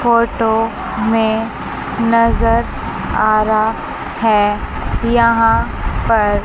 photo में नजर आ रहा है यहां पर--